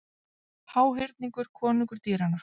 Háhyrningur konungur dýranna